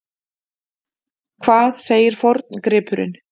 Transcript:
Hvað segir forngripurinn?